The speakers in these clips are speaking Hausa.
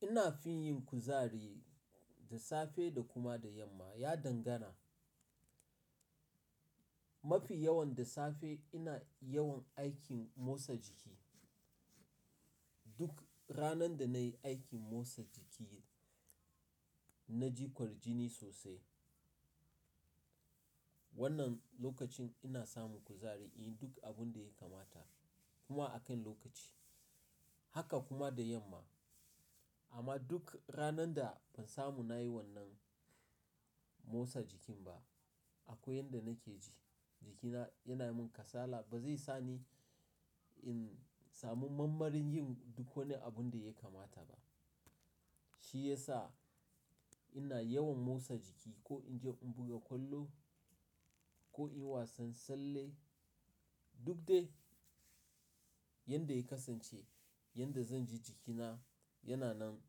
Ina fin yin kuzari da safe da kuma da yamma. Ya dangana. Mafi yawan da safe ina yawan aikin motsa jiki. Duk ranar da na yi aikin motsa jiki, na jikwar jini sosai. Wannan lokacin ina samun kuzari in yi duk abin da ya kamata kuma a kan lokaci. Haka kuma da yamma. Amma duk ranar da ban samu na yi wannan motsa jikin ba, akwai yanda nake ji jikina yana min kasala. Ba zai sa ni in samu mambar yin duk wani abin da ya kamata ba. Shi ya sa ina yawan motsa jiki ko in je in buga kwallo ko in yi wasan tsalle. Duk dai yanda ya kasance, yanda zan ji jikina yana nan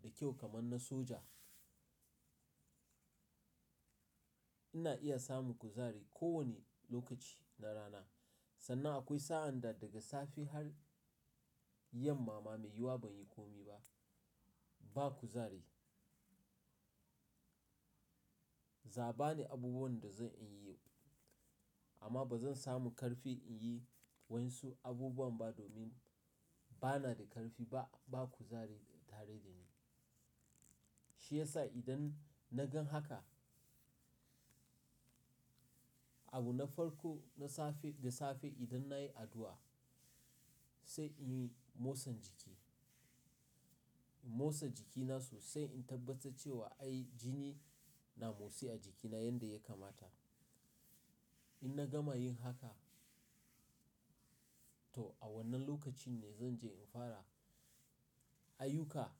da kyau kamar na soja. Ina iya samun kuzari kowane lokaci na rana. Sannan akwai sa'an da daga safe har yamma ma mai yiwuwa ban yi komi ba. Ba kuzari. Za bani abubuwan da zan iya yi amma ba zan samu ƙarfi in yi wasu abubuwan ba domin ba na da ƙarfi ba. Ba kuzari tare da ni. Shi ya sa idan na gan haka, abu na farko na safe da safe idan na yi addu'a, sai in yi motsan jiki. In motsa jikina sosai in tabbata cewa ai jini na motsi a jikina yanda ya kamata. In na gama yin haka, to a wannan lokaci ne zan je in fara ayyuka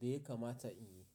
da ya kamata in yi.